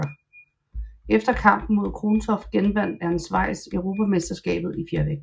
Efter kampen mod Krontoft genvandt Ernst Weiss europamesterskabet i fjervægt